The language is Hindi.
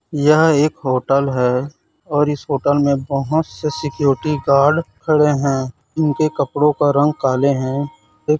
यह एक होटल है और इस होटल में बहुत से सिक्योरिटी गार्ड खड़े हैं इनके कपड़ों का रंग काले हैं।